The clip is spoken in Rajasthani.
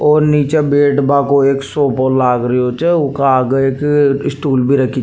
और नीचे बैठ बा को एक सोफा लाग रियो छ उका आगे एक स्टूल भी रखी --